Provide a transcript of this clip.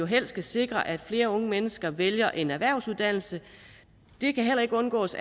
helst skal sikre at flere unge mennesker vælger en erhvervsuddannelse det kan heller ikke undgås